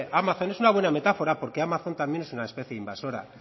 amazon es una buena metáfora porque amazon es también una especie invasora